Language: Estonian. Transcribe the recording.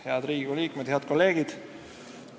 Head Riigikogu liikmed, head kolleegid!